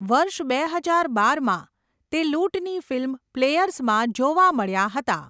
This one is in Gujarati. વર્ષ બે હજાર બારમાં, તે લૂંટની ફિલ્મ 'પ્લેયર્સ'માં જોવા મળ્યા હતા.